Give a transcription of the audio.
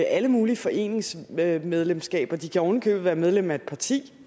alle mulige foreningsmedlemskaber de kan ovenikøbet være medlem af et parti